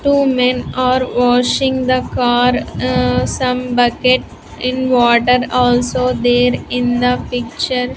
Two men are washing the car some bucket in water also there in the picture.